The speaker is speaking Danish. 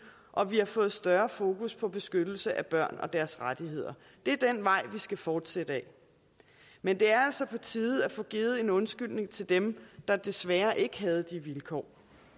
og vi har fået større fokus på beskyttelse af børn og deres rettigheder det er den vej vi skal fortsætte ad men det er altså på tide at få givet en undskyldning til dem der desværre ikke havde de vilkår